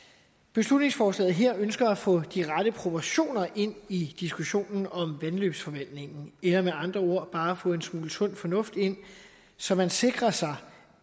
beslutningsforslaget her ønsker at få de rette proportioner ind i diskussionen om vandløbsforvaltningen eller med andre ord bare at få en smule sund fornuft ind så man sikrer sig